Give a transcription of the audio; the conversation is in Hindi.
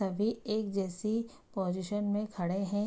सभी एक जैसी पोजीशन में खड़े है।